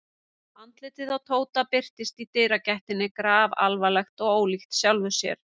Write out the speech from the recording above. Andlitið á Tóta birtist í dyragættinni grafalvarlegt og ólíkt sjálfu sér.